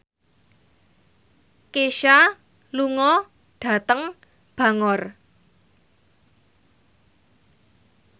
Kesha lunga dhateng Bangor